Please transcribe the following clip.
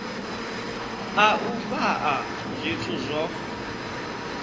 a u fhaa zwithu zwo